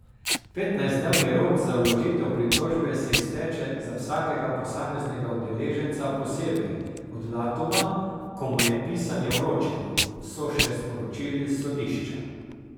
Petnajstdnevni rok za vložitev pritožbe se izteče za vsakega posameznega udeleženca posebej, od datuma, ko mu je pisanje vročeno, so še sporočili s sodišča.